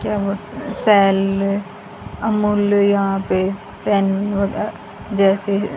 cell Amul यहां पे pen वगैरह जैसे--